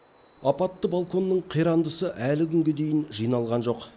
апатты балконның қирандысы әлі күнге дейін жиналған жоқ